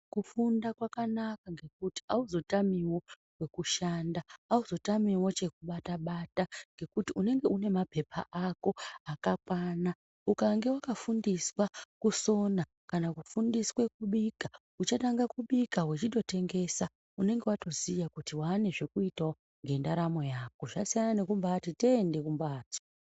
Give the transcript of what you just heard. Kufunda kwakanaka ngekuti hauzotamiwo kwekushanda. Hauzotamiwo chekubata-bata ngekuti unenge unemapepa ako akakwana. Ukange wakafundiswa kusona kana kufundiswe kubika uchatanga kubika wechitotengesa, unenge watoziya kuti waanezvekuitawo ngendaramo yako. Zvasiyana nekumbaati tende kumbatso.